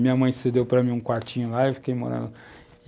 Minha mãe cedeu para mim um quartinho lá e fiquei morando.